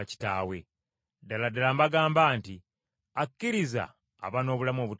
Ddala ddala mbagamba nti, Akkiriza aba n’obulamu obutaggwaawo!